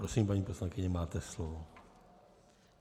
Prosím, paní poslankyně, máte slovo.